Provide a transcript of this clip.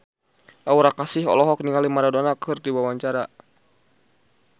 Aura Kasih olohok ningali Maradona keur diwawancara